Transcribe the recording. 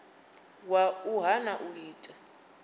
wa u hana u ita